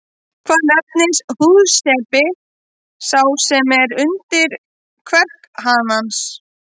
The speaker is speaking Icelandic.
Hvað nefnist húðsepi sá sem er undir kverk hanans?